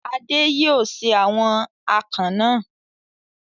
Adé yóò se àwọn akàn náà.